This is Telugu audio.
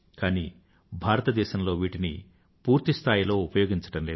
కానీ భారతదేశంలో వీటిని పూర్తిస్థాయిలో ఉపయోగం లేదు